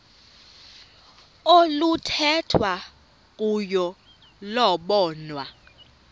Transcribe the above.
oluthethwa kuyo lobonwa